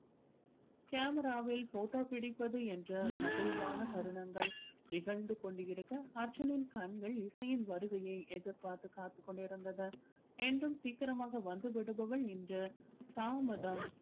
camera வில் photo பிடிப்பது என்று மகிழ்வான தருணங்கள் நிகழ்ந்து கொண்டு இருக்க அர்ஜுனின் கண்கள் இசையின் வருகையை எதிர் பார்த்து காத்துக் கொண்டு இருந்தது என்றும் சீக்கிரமாக வந்து விடுபவள் இன்று தாமதம்